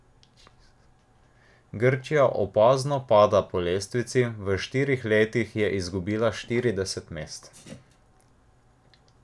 Grčija opazno pada po lestvici, v štirih letih je izgubila štirideset mest.